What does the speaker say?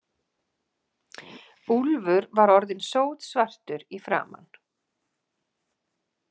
Úlfur var orðinn sótsvartur í framan.